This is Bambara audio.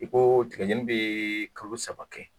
I ko tigɛ jɛni bi kalo saba kɛ.